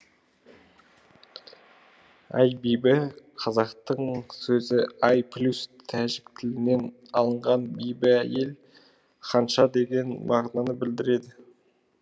аи бибі қазақтың сөзі ай плюс тәжік тілінен алынған биби әйел ханша деген мағынаны білдіреді